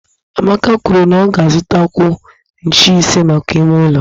Amaka kwuru na ọ ga-azutakwu ncheisi maka ime ụlọ